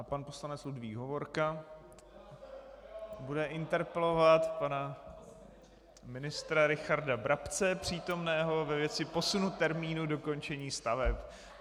A pan poslanec Ludvík Hovorka bude interpelovat pana ministra Richarda Brabce přítomného ve věci posunu termínu dokončení staveb.